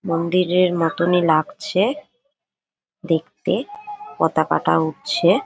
মন্দিরের মতনই লাগছে দেখতে পাতাকাটা উড়ছে।